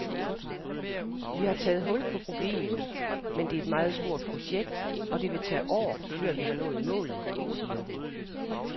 Vi har taget hul på problemet, men det er et meget stort projekt, og det vil tage år, før vi når målet, siger hun.